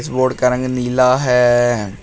Board का रंग नीला है।